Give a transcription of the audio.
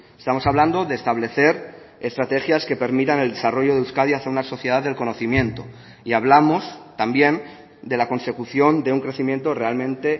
estamos hablando de establecer estrategias que permitan el desarrollo de euskadi hacia una sociedad del conocimiento y hablamos también de la consecución de un crecimiento realmente